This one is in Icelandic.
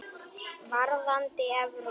Varðandi Evrópu?